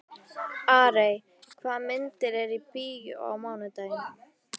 Arey, hvaða myndir eru í bíó á mánudaginn?